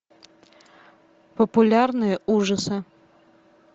популярные ужасы